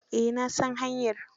Eh na san hanyar.